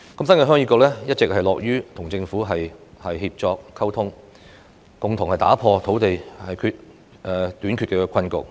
新界鄉議局一直樂於與政府協作溝通，共同打破土地短缺的困局。